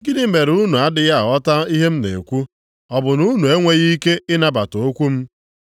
Gịnị mere unu adịghị aghọta ihe m na-ekwu? Ọ bụ na unu enweghị ike ịnabata okwu m.